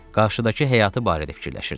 Qarşıdakı həyatı barədə fikirləşirdi.